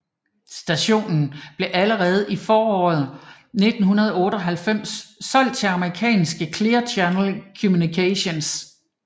Stationen blev allerede i foråret 1998 solgt til amerikanske Clear Channel Communications